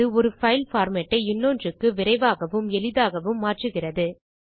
அது ஒரு file format ஐ இன்னொன்றுக்கு விரைவாகவும் எளிதாகவும் மாற்றுகிறது